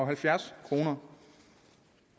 halvfjerds kroner